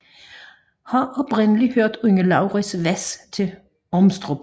Har oprindeligt hørt under Laurits Hvas til Ormstrup